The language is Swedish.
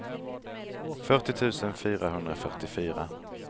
fyrtio tusen fyrahundrafyrtiofyra